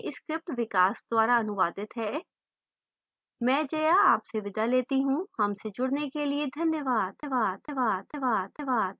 यह script विकास द्वारा अनुवादित है मैं जया अब आपसे विदा लेती हूँ हमसे जुडने के लिए धन्यवाद